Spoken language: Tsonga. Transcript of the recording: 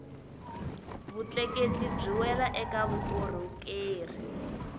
vutleketli byi wela eka vukorhokeri